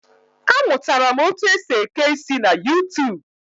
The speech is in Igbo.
A mụtara m otu esi eke isi na YuuTuub